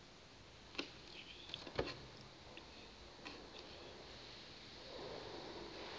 na umthetho uthixo